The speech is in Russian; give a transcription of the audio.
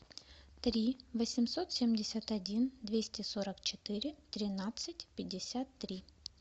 три восемьсот семьдесят один двести сорок четыре тринадцать пятьдесят три